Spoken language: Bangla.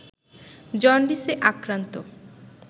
জন্ডিসে আক্রান্ত